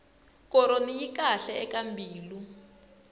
koroni yi kahle eka mbilu